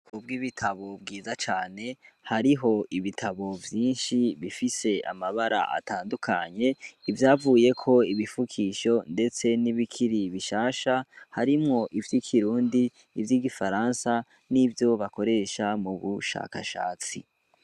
Kubwo ibitabo bwiza cane hariho ibitabo vyinshi bifise amabara atandukanye ivyavuye ko ibifukisho, ndetse n'ibikiri bishasha harimwo ivyo ikirundi ivyo igifaransa n'ivyo bakoresha mu bushakashatsi.